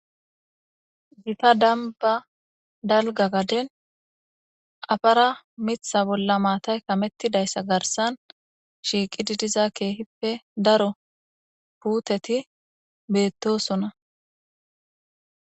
gita damba dalga gaden afara mitha bolla maatay kamettidayssa garsan shiiqi didiza keehippe daro puuteti beettosona